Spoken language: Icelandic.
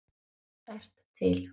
ert til!